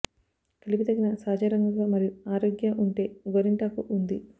కలిపి దగిన సహజ రంగుగా మరియు ఆరోగ్య అంటే గోరింటాకు ఉంది